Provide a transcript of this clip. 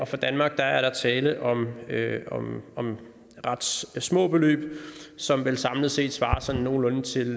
for danmark er der tale om ret små beløb som vel samlet set svarer sådan nogenlunde til